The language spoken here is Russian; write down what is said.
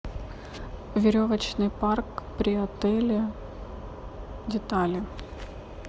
веревочный парк при отеле детали